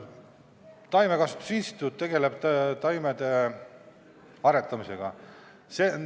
Taimekasvatuse instituut tegeleb taimede aretamisega.